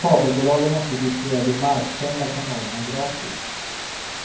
Kabelbolagen måste distribuera de marksända kanalerna gratis.